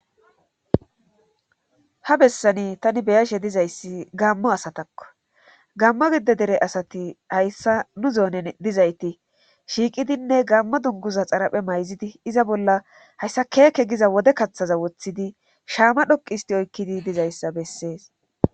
ha bessani tani be'ashe dizayssi gaammo asatakko gaammo gidde dere asati hayssa nu zoonen dizayti shiiqidinne gammo dunguza xaraphe mayzidi iza bolla hayssa keeke giza wode kaththaza woththidi shaama dhoqi histi oykkidi dizayssa bessees